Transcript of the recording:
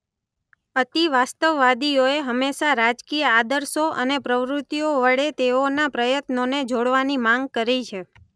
અતિવાસ્તવવાદીઓએ હંમેશા રાજકીય આદર્શો અને પ્રવૃતિઓ વડે તેઓના પ્રયત્નોને જોડવાની માંગ કરી છે.